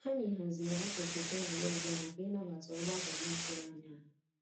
Anyị haziri akụkụ tebụlụ ọzọ maka ịnabata ọgbakọ n'atụghị ányá ha.